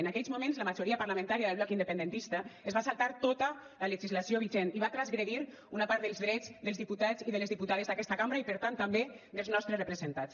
en aquells moments la majoria parlamentària del bloc independentista es va saltar tota la legislació vigent i va transgredir una part dels drets dels diputats i de les diputades d’aquesta cambra i per tant també dels nostres representats